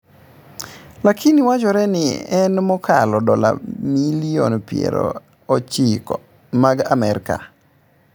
Lakini owachore ni en mokalo dola milion piero ochiko mag Amerka.